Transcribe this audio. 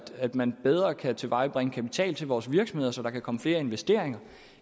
at man bedre kan tilvejebringe kapital til vores virksomheder så der kan komme flere investeringer